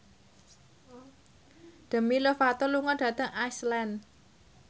Demi Lovato lunga dhateng Iceland